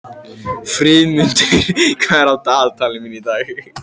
Friðmundur, hvað er á dagatalinu mínu í dag?